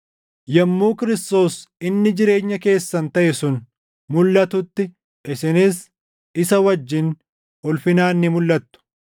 Yommuu Kiristoos inni jireenya keessan taʼe sun mulʼatutti isinis isa wajjin ulfinaan ni mulʼattu.